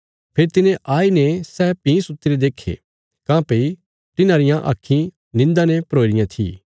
फेरी तिने आई ने सै भीं सुत्तीरे देक्खे काँह्भई तिन्हांरियां आक्खीं निन्दा ने भरोई रियां थी